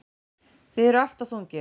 Þið eruð alltof þungir.